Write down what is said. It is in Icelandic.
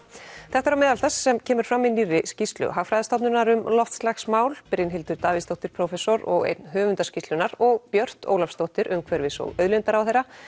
þetta er á meðal þess sem kemur fram í nýrri skýrslu Hagfræðistofnunar um loftslagsmál Brynhildur Davíðsdóttir prófessor og einn höfunda skýrslunnar og Björt Ólafsdóttir umhverfis og auðlindaráðherra